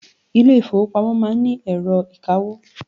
Ilé ìfọwọ́pamo má ń ni ẹ̀rọ ìkawó.